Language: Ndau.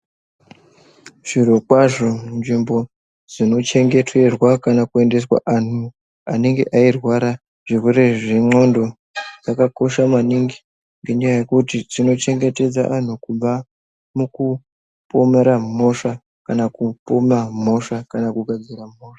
Zviro kwazo nzvimbo dzino dzeichengeterwa kana kuendeswa andu vanenge veirwara chirwere chenglondodzakakosha maningi nekuti dzochengetedza vandu kubva mukupomera mhosva kana kupoma mhosva kana kugadzira mhosva